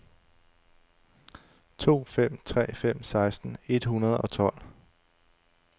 to fem tre fem seksten et hundrede og tolv